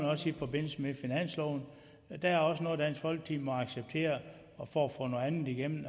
også i forbindelse med finansloven der er også noget dansk folkeparti må acceptere for at få noget andet igennem